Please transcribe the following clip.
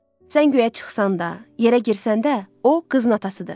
Sən guya çıxsan da, yerə girsən də, o qızın atasıdır.